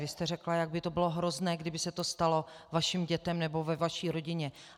Vy jste řekla, jak by to bylo hrozné, kdyby se to stalo vašim dětem nebo ve vaší rodině.